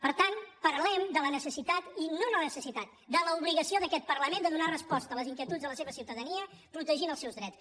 per tant parlem de la necessitat i no de la necessitat de l’obligació d’aquest parlament de donar resposta a les inquietuds de la seva ciutadania protegint els seus drets